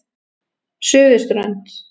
Suðurströnd